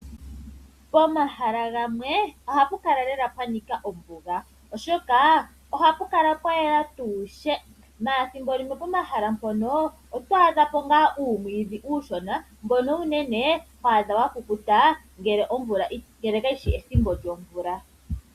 Pomahala gamwe ohapu kala lela pwanika ombuga oshoka ohapu kala pwayela tuu she ihe pomahala mpono ethimbo limwe oto adhapo ngaa uumwiidhi mbono uunene ho adha wakukuta ngele kayishi ethimbo lyomvula.